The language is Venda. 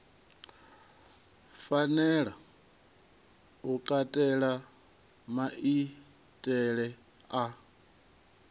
fanela u katela maitele a